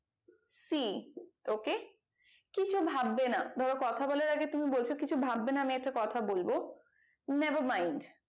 see ok কিছু ভাববে না ধরো কথা বলার আগে তুমি বলছো কিছু ভাববে না আমি একটা কথা বলবো never mind